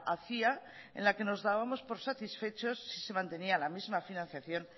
hacía en la que nos dábamos por satisfechos si se mantenía la misma financiación